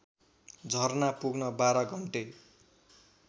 झरना पुग्न १२ घन्टे